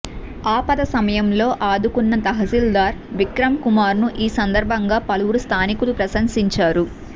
ఆపద సమయంలో ఆదుకున్న తహశీల్దార్ విక్రమ్ కుమార్ ను ఈ సందర్భంగా పలువురు స్థానికులు ప్రశంసించారు